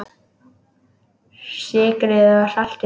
Sykrið og saltið.